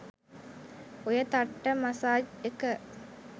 ඔය තට්ට මසාජ් එක